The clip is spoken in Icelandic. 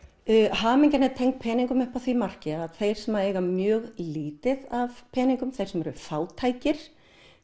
hamingjan er tengd peningum upp að því marki að þeir sem eiga mjög lítið af peningum þeir sem eru fátækir